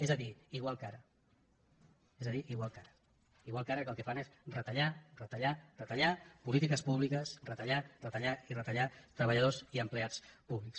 és a dir igual que ara és a dir igual que ara igual que ara que el que fan és retallar retallar retallar polítiques públiques retallar retallar i retallar treballadors i empleats públics